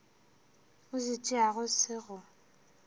o se tšeago se go